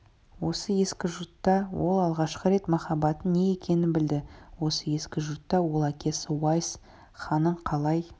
осы ескі жұртта ол алғашқы рет махаббаттың не екенін білді осы ескі жұртта ол әкесі уайс ханның қалай